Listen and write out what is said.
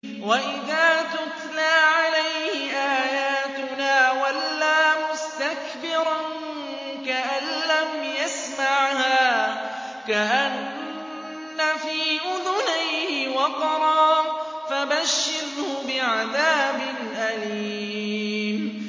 وَإِذَا تُتْلَىٰ عَلَيْهِ آيَاتُنَا وَلَّىٰ مُسْتَكْبِرًا كَأَن لَّمْ يَسْمَعْهَا كَأَنَّ فِي أُذُنَيْهِ وَقْرًا ۖ فَبَشِّرْهُ بِعَذَابٍ أَلِيمٍ